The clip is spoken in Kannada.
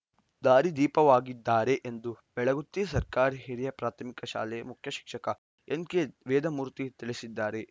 ದಾರಿದೀಪವಾಗಿದ್ದಾರೆ ಎಂದು ಬೆಳಗುತ್ತಿ ಸರ್ಕಾರಿ ಹಿರಿಯ ಪ್ರಾಥಮಿಕ ಶಾಲೆ ಮುಖ್ಯ ಶಿಕ್ಷಕ ಎನ್‌ಕೆ ವೇದಮೂರ್ತಿ ತಿಳಿಸಿದ್ದಾರೆ